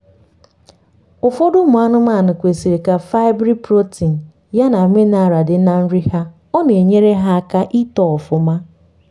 ụfọdụ ụmụ anụmanụ kwesiri k' fibreprotein ya na mineral di na nri ha ọna enyere ha aka itoo ọfụma